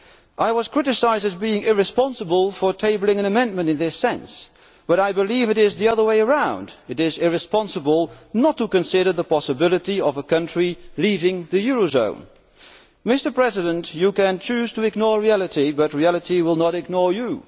I was criticised as being irresponsible for tabling an amendment in this sense, but I believe it is the other way round it is irresponsible not to consider the possibility of a country leaving the eurozone. Mr President, you can choose to ignore reality but reality will not ignore you.